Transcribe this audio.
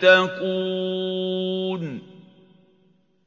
تَتَّقُونَ